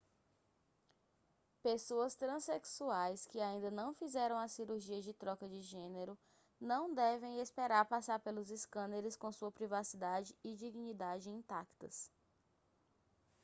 pessoas transexuais que ainda não fizeram a cirurgia de troca de gênero não devem esperar passar pelos escâneres com sua privacidade e dignidade intactas